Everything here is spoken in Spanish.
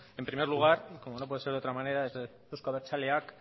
en primer lugar como no puede ser de otra manera desde euzko abertzaleak